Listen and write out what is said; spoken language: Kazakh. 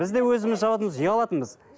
бізде өзіміз жабатынбыз ұялатынбыз